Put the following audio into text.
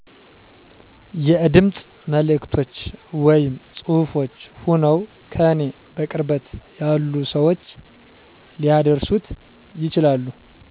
የድምፅ መልዕክቶች ወይም ፅሁፍች ሆነዉ ከኔ በቅርበት ያሉ ሰዎች ሊያደርሱት ይችላሉ